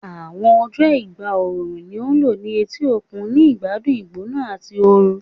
Awọn ọjọ igba ooru ni a lo ni eti okun, ni igbadun igbona ati oorun